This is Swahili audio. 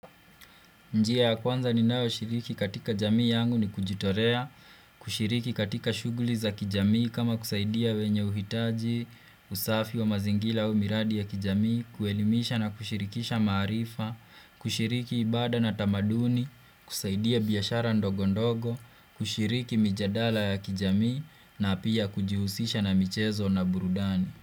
Njia ya kwanza ninayo shiriki katika jamii yangu ni kujitolea, kushiriki katika shuguli za kijamii kama kusaidia wenye huhitaji, usafi wa mazingira au miradi ya kijamii, kuelimisha na kushirikisha maarifa, kushiriki ibada na tamaduni, kusaidia biashara ndogo ndogo, kushiriki mijadala ya kijamii na pia kujihusisha na michezo na burudani.